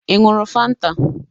Ị ṅụrụ Fanta?